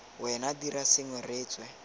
wena dira sengwe re tswe